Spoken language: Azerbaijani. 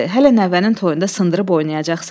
Hələ nəvənin toyunda sındırıb oynayacaqsan.